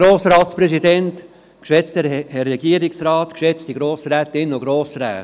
Ich erteile dem Motionär, Grossrat Zimmermann, das Wort.